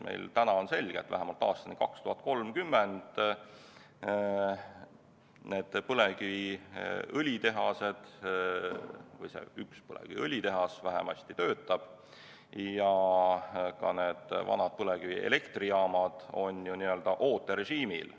Meil on täna selge, et vähemalt aastani 2030 need põlevkiviõlitehased töötavad või vähemasti see üks põlevkiviõlitehas töötab, ja ka vanad põlevkivielektrijaamad on ju n-ö ooterežiimil.